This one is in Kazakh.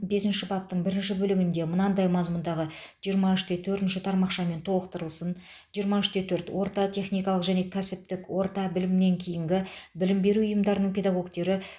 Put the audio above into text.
бесінші баптың бірінші бөлігінде мынадай мазмұндағы жиырма үште төртінші тармақшамен толықтырылсын жиырма үште төрт орта техникалық және кәсіптік орта білімнен кейінгі білім беру ұйымдарының педагогтері